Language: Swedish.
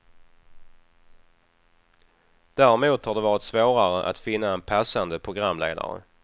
Däremot har det varit svårare att finna en passande programledare.